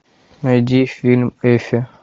найди фильм эффи